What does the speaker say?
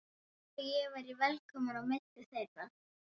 Eins og ég væri velkominn á milli þeirra.